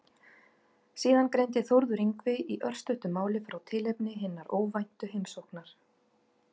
Síðan greindi Þórður Yngvi í örstuttu máli frá tilefni hinnar óvæntu heimsóknar.